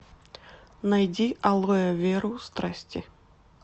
найди алоэверу страсти